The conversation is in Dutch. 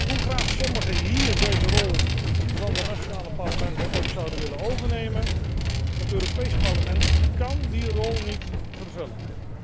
Hoe graag sommigen hier deze rol van de nationale parlementen ook zouden willen overnemen, het Europees Parlement kán die rol niet vervullen.